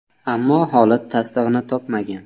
Ammo holat tasdig‘ini topmagan.